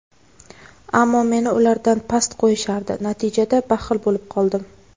ammo meni ulardan past qo‘yishardi - natijada baxil bo‘lib qoldim.